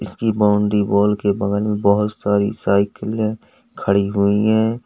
इसकी boundary wall के बगल में बहोत सारी साइकिलें खड़ी हुई है।